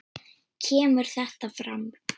kemur þetta fram